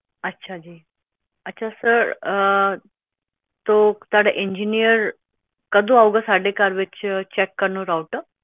ਅੱਛਾ ਜੀ ਅੱਛਾ ਸਰ ਸੋ ਤੁਹਾਡਾ ਇੰਜੀਨੀਅਰ ਕਦੋ ਆਊਂਗਾ ਸਾਡੇ ਘਰ ਚੈੱਕ ਕਾਰਨ ਰਾਊਟਰ